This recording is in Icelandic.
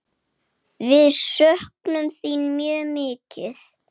Við söknum þín mjög mikið.